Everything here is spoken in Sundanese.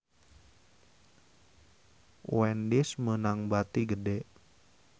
Wendy's meunang bati gede